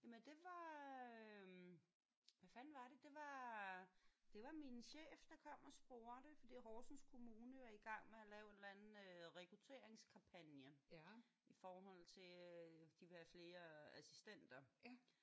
Jamen det var øh hvad fanden var det? Det var det var min chef der kom og spurgte fordi Horsens kommune er i gang med at lave en eller anden rekrutteringskampagne i forhold til at de vil have flere assistenter